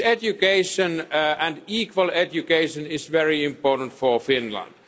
Education and equal education is very important for Finland.